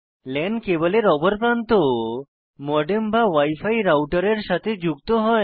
লান কেবলের অপর প্রান্ত মডেম বা wi ফি রাউটারের সাথে যুক্ত হয়